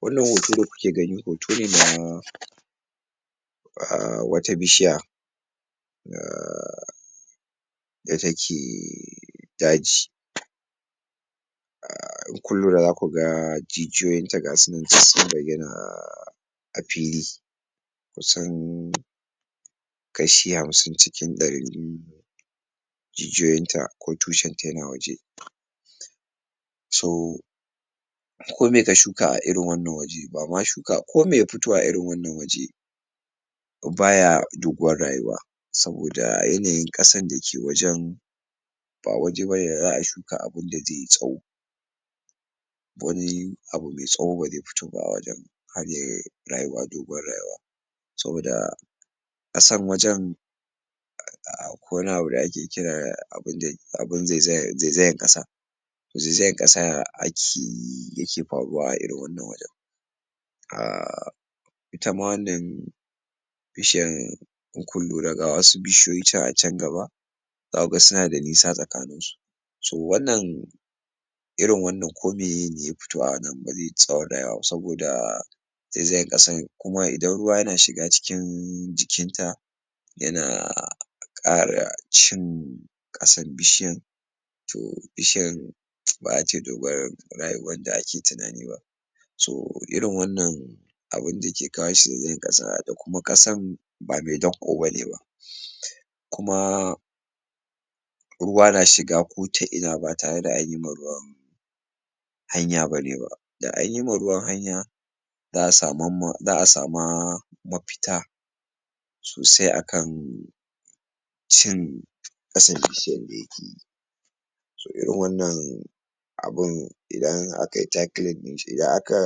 Wannan hoto da kuke gani hoto ne na a wata bishiya um da take daji, um in kun kura za ku ga jijiyoyinta gasu nan dissun bayyana a fili, kusan kashi hamsin cikin ɗarin jijiyoyinta ko tushenta yana waje, so komi ka shuka a irin wannan waje bama shuka komi ya futo a irin wannan waje ko baya doguwar rayuwa, saboda yanayin ƙasan da ke wajen ba waje bane da za'a shuka abunda ze tsawo, wani abu me tsawo ba ze futo ba a wajen har yai rayuwa doguwar rayuwa, saboda ƙasan wajen akwai wani abu da ake kira da abun dai abun zezayar zezayar ƙasa zezayan ƙasa akeyi yake faruwa a irn wannan wajen, um ita ma wannan bishiyan in kun lura ga wasu bishiyoyi can a can gaba ka ga suna da nisa tsakaninsu so wannan irin wannan komiyene ya futo a wannan ba ze yi tsawon rayuwa ba saboda zezayan ƙasan kuma idan ruwa yana shiga cikin jikinta yana ƙara cin ƙasan bishiyan to bishiyan ba za tai dogor rayuwar da ake tinani ba, so irin wannan abunda ke kawo shi zazayan ƙasa da kuma ƙasan ba me danƙo bane ba, kuma ruwa na shiga ko ta ina ba tare da anyi ma ruwan hanya bane ba da anyi ma ruwan hanya za'a samamma za'a sama mafita sosai akan shirin ƙasan bishiyan da yake yi, so irin wannan abun idan akai tackling ɗin shi idan aka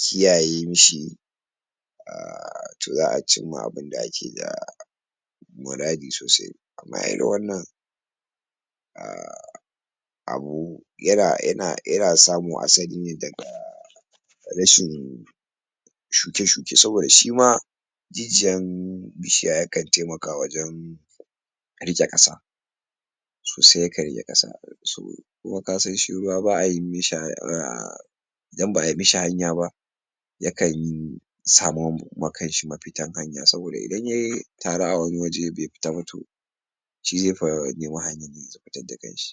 kiyaye mashi um to za'a cimma abunda ake ga muradi sosai, kamar irin wannan um abu yana yana yana samo asali ne daga rishin shuke-shuke saboda shima jijiyan bishiya yakan taimaka wajen riƙe ƙasa sosai yakan riƙe ƙasa so kuma kasan shi ruwa ba'a yi mashi dan ba'ai mashi hanya ba yakan yi samo ma kanshi mafitan hanya saboda idan yai taru a wani waje bai fita ba to shi zai fa nemi hanyadda ze zo fitadda kanshi.